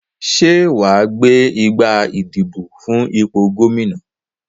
Sé wàá gbé igbá ìdìbò fún ipò Gómìnà